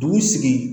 Dugu sigi